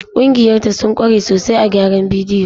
Ƙungiya ta sun kware sosai a gyaran bidiyo.